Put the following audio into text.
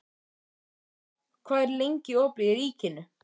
Linda, hvað er lengi opið í Ríkinu?